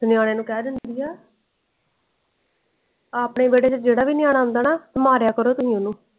ਤੇ ਨਯਾਨੇ ਨੂੰ ਕਹਿ ਦੇਂਦੀ ਆ ਆਪਣੇ ਵੇਹੜੇ ਚ ਜਿਹੜਾ ਵੀ ਨਯਨ ਆਉਂਦਾ ਨਾ ਮਾਰਿਆ ਕਰੋ ਓਹਨੂੰ।